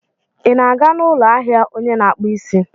Ị na-aga n'ụlọ ahịa onye na-akpụ isi?